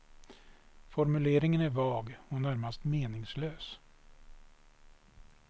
Formuleringen är vag och närmast meningslös.